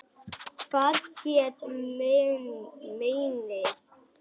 Hvað hét meinið?